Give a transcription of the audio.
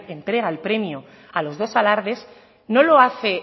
entrega el premio a los dos alardes no lo hace